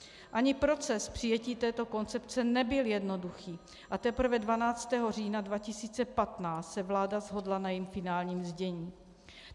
Ani proces přijetí této koncepce nebyl jednoduchý a teprve 12. října 2015 se vláda shodla na jejím finálním znění.